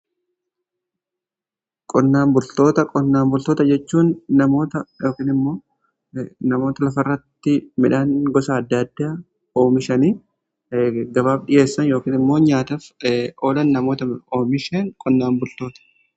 Qonnaan bultoota: Qonnaan bultoota jechuun namoota lafirratti midhaan gosa adda addaa oomishan gabaaf dhiheessan yookiin immoo nyaataf oolan namoota oomishan qonnaan bultoota.